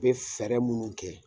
U bɛ fɛɛrɛ minnu kɛ